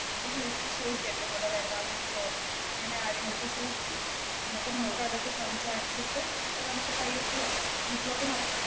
വീട്ടില് വിളിച്ചു ചോദിക്ക് എന്റെ കൂടെ ചോദിക്ക്, എന്നിട്ട് നമുക്ക് അതൊക്കെ സംസാരിച്ചിട്ട് നമുക്ക് പയ്യെ പോവാം. വീട്ടിലോട്ട് നടക്കാം